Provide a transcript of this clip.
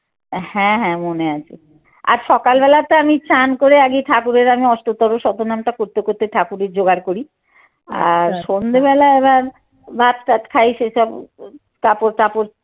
হ্যাঁ হ্যাঁ মনে আছে আর সকাল বেলা তো আমি স্নান করে আগে ঠাকুরের আমি অষ্টতর শতনাম টা করতে করতে ঠাকুরের যোগাড় করি সন্ধ্যে বেলা আবার ভাত তাৎ খাই সেসব কাপড় টাপড়